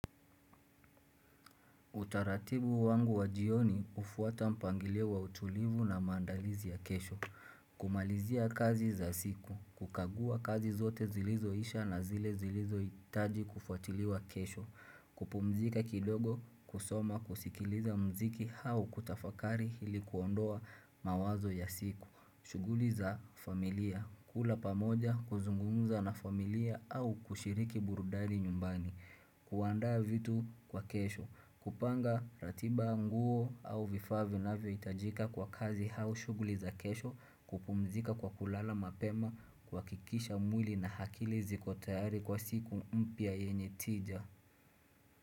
Utaratibu wangu wa jioni hufuata mpangilio wa utulivu na maandalizi ya kesho. Kumalizia kazi za siku. Kukagua kazi zote zilizo isha na zile zilizo itaji kufuatiliwa kesho. Kupumzika kidogo, kusoma, kusikiliza mziki hau kutafakari hili kuondoa mawazo ya siku. Shughuli za familia. Kula pamoja kuzungumza na familia au kushiriki burudani nyumbani. Kuandaa vitu kwa kesho. Kupanga ratiba nguo au vifaa vi na vyohitajika kwa kazi hau shughuli za kesho kupumzika kwa kulala mapema kuhakikisha mwili na hakili zikotayari kwa siku mpia yenye tija.